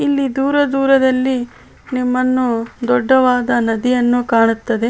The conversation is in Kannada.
ಇಲ್ಲಿ ದೂರ ದೂರದಲ್ಲಿ ನಿಮ್ಮನ್ನು ದೊಡ್ಡವಾದ ನದಿಯನ್ನು ಕಾಣುತ್ತದೆ .